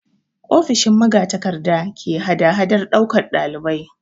Ofishin magatakarda ke hadahadar ɗaukan ɗalibai.